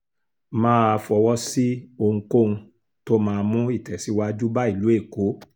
má a fọwọ́ sí ohunkóhun tó máa mú ìtẹ̀síwájú bá ìlú èkó